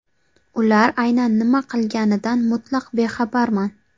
Ular aynan nima qilganidan mutlaq bexabarman.